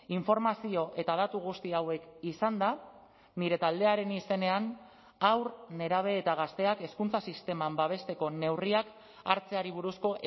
informazio eta datu guzti hauek izanda nire taldearen izenean haur nerabe eta gazteak hezkuntza sisteman babesteko neurriak hartzeari buruzko